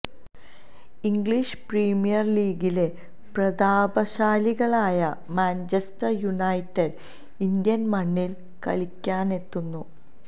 English Premier ലീഗിലെ പ്രതാപശാലികളായ Manchester United Indian മണ്ണിൽ കളിക്കാനെത്തുന്നു